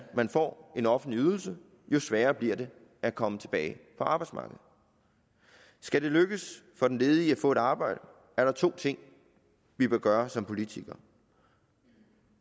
man får en offentlig ydelse jo sværere bliver det at komme tilbage på arbejdsmarkedet skal det lykkes for den ledige at få et arbejde er der to ting vi bør gøre som politikere